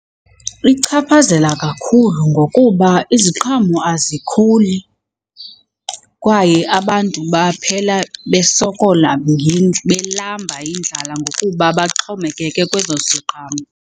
Ichaphazela kakhulu ngokuba iziqhamo azikhuli kwaye abantu baphela besokola belamba yindlala ngokuba baxhomekeke kwezo ziqhamo.